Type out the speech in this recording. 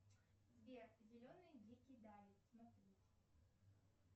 сбер зеленые дикие дали смотреть